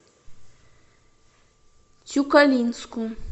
тюкалинску